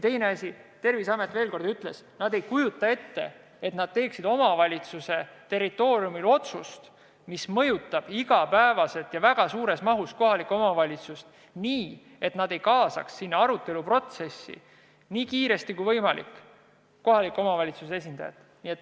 Teine asi, Terviseamet ütles, et nad ei kujuta ette, et nad hakkaksid omavalitsuse territooriumil tegema otsust, mis mõjutab igapäevaselt ja väga suures mahus kohalikku omavalitsust, nii, et nad ei kaasaks aruteluprotsessi võimalikult kiiresti ka kohaliku omavalitsuse esindajat.